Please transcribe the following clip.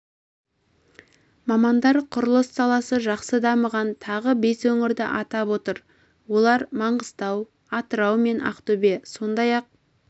мамандар құрылыс саласы жақсы дамыған тағы бес өңірді атап отыр олар мыңғыстау атырау мен ақтөбе сондай-ақ